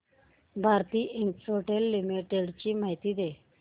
Bharti Infratel limited ची माहिती दे